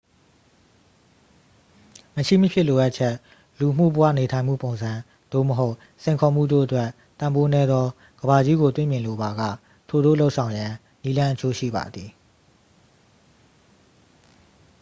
မရှိမဖြစ်လိုအပ်ချက် လူမှု့ဘဝနေထိုင်မှုပုံစံ သို့မဟုတ် စိန်ခေါ်မှုတို့အတွက် တန်ဖိုးနည်းသောကမ္ဘာကြီးကိုတွေ့မြင်လိုပါက ထိုသို့လုပ်ဆောင်ရန် နည်းလမ်းအချို့ရှိပါသည်